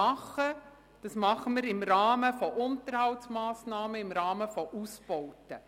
Was wir tun, tun wir im Rahmen von Unterhaltsmassnahmen und Ausbauten.